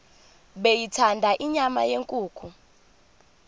beyithanda inyama yenkukhu